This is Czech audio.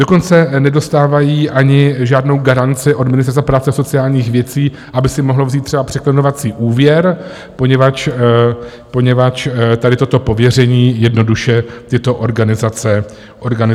Dokonce nedostávají ani žádnou garanci od Ministerstva práce a sociálních věcí, aby si mohli vzít třeba překlenovací úvěr, poněvadž tady toto pověření jednoduše tyto organizace nemají.